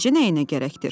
Necə nəyinə gərəkdir?